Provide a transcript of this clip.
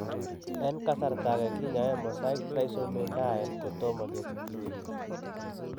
En kasarta age kinyoe mosaic trisomy 9 kotomo kesigich chi.